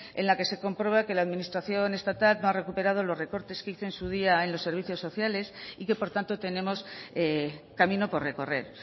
en la que se comprueba que la administración estatal no ha recuperado los recortes que hizo en su día en los servicios sociales y que por tanto tenemos camino por recorrer